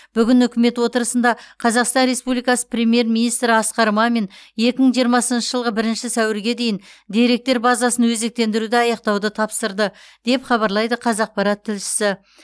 бүгін үкімет отырысында қазақстан республикасы премьер министрі асқар мамин екі мың жиырмасыншы жылғы бірінші сәуірге дейін деректер базасын өзектендіруді аяқтауды тапсырды деп хабарлайды қазақпарат тілшісі